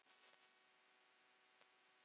í konu minni.